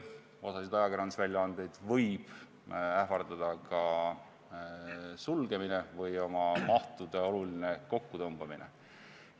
Osa ajakirjandusväljaandeid võib ähvardada ka sulgemine või mahu oluline kokkutõmbamine.